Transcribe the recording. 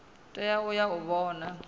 tea u ya u vhona